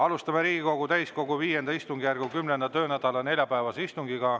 Alustame Riigikogu täiskogu V istungjärgu 10. töönädala neljapäevast istungit.